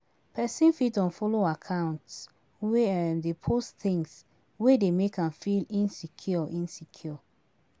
Person fit unfollow accounts wey dey post things wey dey make am feel insecure